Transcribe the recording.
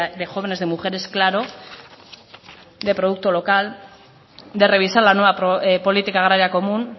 de jóvenes de mujeres claro de producto local de revisar la nueva política agraria común